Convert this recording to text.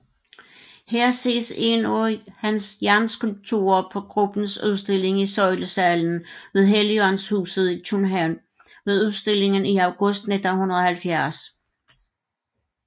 Her ses en af hans jernskulpturer på gruppens udstilling i Søjlesalen ved Helligåndshuset i København ved udstillingen i august 1970